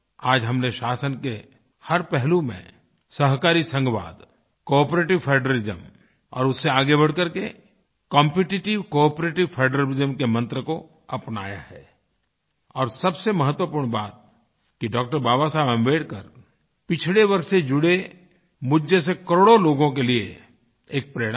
आज हम ने शासन के हर पहलू में सहकारी संघवाद कोआपरेटिव फेडरलिज्म और उससे आगे बढ़ करके कॉम्पिटिटिव कोआपरेटिव फेडरलिज्म के मन्त्र को अपनाया है और सबसे महत्वपूर्ण बात कि डॉ० बाबा साहब आम्बेडकर पिछड़े वर्ग से जुड़े मुझ जैसे करोड़ों लोगों के लिए एक प्रेरणा हैं